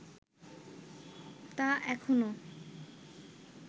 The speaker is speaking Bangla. তা এখনো